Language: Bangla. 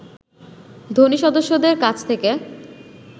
ধনী সদস্যদের কাছ থেকে